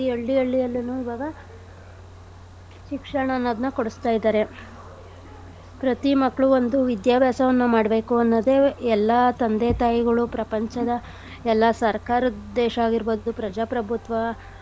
ಹಳ್ಳಿ ಹಳ್ಳಿಯಲ್ಲೂನು ಇವಾಗ ಶಿಕ್ಷಣ ಅನ್ನೋದ್ನ ಕೊಡ್ಸ್ತ ಇದಾರೆ. ಪ್ರತಿ ಮಕ್ಳು ಬಂದು ವಿದ್ಯಾಭ್ಯಾಸವನ್ನ ಮಾಡ್ಬೇಕು ಅನ್ನೋದೆ ಎಲ್ಲಾ ತಂದೆ ತಾಯಿಗಳು ಪ್ರಪಂಚದ ಎಲ್ಲಾ ಸರ್ಕಾರದ್ ಉದ್ದೇಶ ಆಗಿರ್ಬೋದು ಪ್ರಜಾಪ್ರಭುತ್ವ.